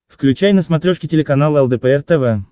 включай на смотрешке телеканал лдпр тв